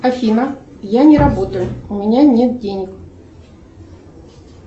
афина я не работаю у меня нет денег